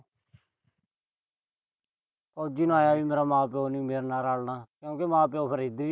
ਫੌਜੀ ਨੂੰ ਆਏ ਆ ਵੀ ਮੇਰਾ ਮਾਂ-ਪਿਉ ਨੀ ਮੇਰੇ ਨਾਲ ਰੱਲਣਾ ਕਿਉਂਕਿ ਮਾਂ ਪਿਉ ਫਿਰ ਇਹਦੇ ਵੀ